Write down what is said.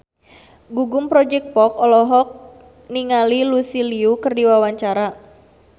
Gugum Project Pop olohok ningali Lucy Liu keur diwawancara